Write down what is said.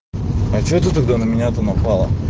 а что ты тогда на меня то напала